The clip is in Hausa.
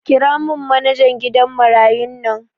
Kiramin manajan gidan marayun nan